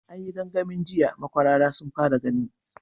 An yi gangamin jiya, makwarara sun fara gani.